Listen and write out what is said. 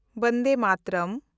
Vande Mataram